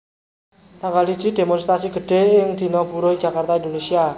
Tanggal siji Démonstrasi gedhé ing Dina Buruh ing Jakarta Indonesia